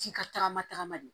Ji ka tagama tagama de